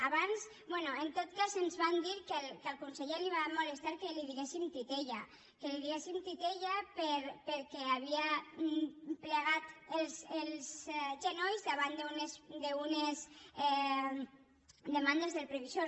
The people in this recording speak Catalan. abans bé en tot cas ens van dir que al conseller li va molestar que li diguéssim titella que li diguéssim titella perquè havia plegat els genolls davant d’unes demandes del previsor